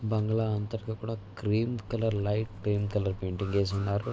బంగ్లా అంతటా కూడా cream colour light plain colour వేసివున్నారు